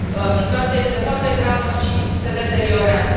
Situația este foarte gravă și se deteriorează.